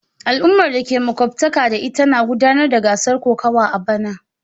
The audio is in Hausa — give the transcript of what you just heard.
Al'ummar da ke makwabtaka da ita na gudanar da gasar kokawa a bana.